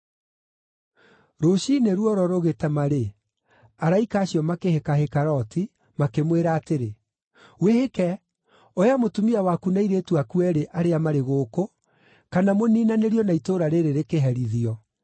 Rũciinĩ ruoro rũgĩtema-rĩ, araika acio makĩhĩkahĩka Loti, makĩmwĩra atĩrĩ, “Wĩhĩke! Oya mũtumia waku na airĩtu aku eerĩ arĩa marĩ gũkũ, kana mũniinanĩrio na itũũra rĩĩrĩ rĩkĩherithio.”